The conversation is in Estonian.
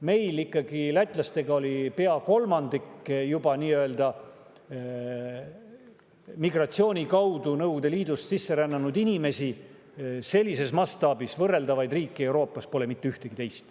Meil lätlastega oli ikkagi juba pea kolmandik migratsiooni kaudu Nõukogude Liidust sisse rännanud inimesi, sellises mastaabis meiega võrreldavaid riike pole Euroopas mitte ühtegi teist.